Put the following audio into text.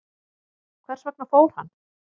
Hvers vegna fór hann?